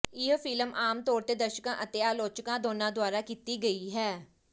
ਇਹ ਫ਼ਿਲਮ ਆਮ ਤੌਰ ਤੇ ਦਰਸ਼ਕਾਂ ਅਤੇ ਆਲੋਚਕਾਂ ਦੋਨਾਂ ਦੁਆਰਾ ਕੀਤੀ ਗਈ ਹੈ